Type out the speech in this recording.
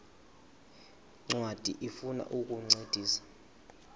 ncwadi ifuna ukukuncedisa